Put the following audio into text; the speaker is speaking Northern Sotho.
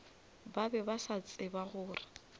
ba be ba tseba gore